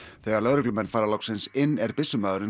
þegar lögreglumenn fara loksins inn er